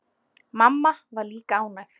Mamma var líka ánægð.